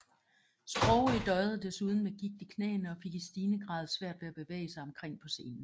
Sprogøe døjede desuden med gigt i knæene og fik i stigende grad svært ved at bevæge sig omkring på scenen